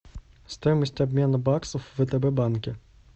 стоимость обмена баксов в втб банке